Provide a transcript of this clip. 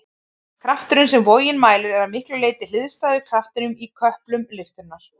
Krafturinn sem vogin mælir er að miklu leyti hliðstæður kraftinum í köplum lyftunnar.